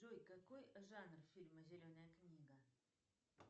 джой какой жанр фильма зеленая книга